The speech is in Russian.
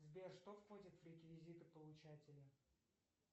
сбер что входит в реквизиты получателя